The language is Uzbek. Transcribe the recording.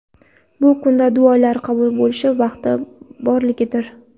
bu kunda duolar qabul bo‘lish vaqti borligidir.